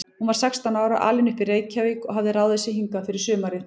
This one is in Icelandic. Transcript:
Hún var sextán ára, alin upp í Reykjavík og hafði ráðið sig hingað fyrir sumarið.